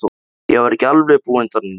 Ég var ekki alveg búinn þarna inni.